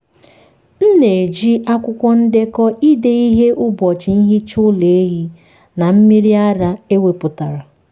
m na-eji akwụkwọ ndekọ ide ihe ụbọchị nhicha ụlọ ehi na mmiri ara ewepụtara.